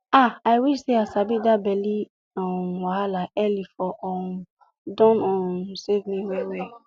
ah i wish say i sabi that belly um wahala early for um don um save me well well